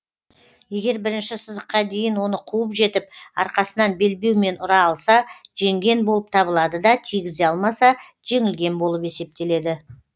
егер бірінші сызыққа дейін оны қуып жетіп арқасынан белбеумен ұра алса жеңген болып табылады да тигізе алмаса жеңілген болып есептеледі